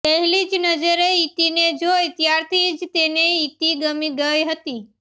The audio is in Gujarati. પહેલી જ નજરે ઇતિને જોઇ ત્યારથી જ તેને ઇતિ ગમી ગઇ હતી